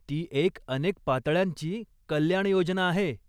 ती एक अनेक पातळ्यांची कल्याणयोजना आहे.